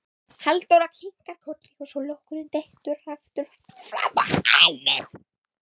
Halldóra kinkar kolli svo lokkurinn dettur aftur fram á ennið.